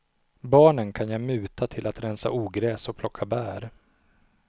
Barnen kan jag muta till att rensa ogräs och plocka bär.